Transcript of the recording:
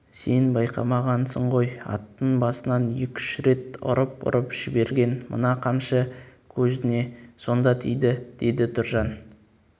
сен байқамағансың ғой аттың басынан екі-үш рет ұрып-ұрып жіберген мына қамшы көзіне сонда тиді деді тұржан